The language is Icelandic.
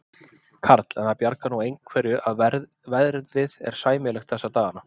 Karl: En það bjargar nú einhverju að verðið er sæmilegt þessa dagana?